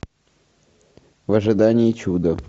в ожидании чуда